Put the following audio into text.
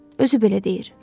Özü belə deyir.